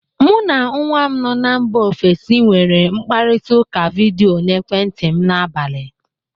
Mụ na nwa m nọ na mba ofesi nwere nkparịtaụka vidịo n'ekwentị m n'abalị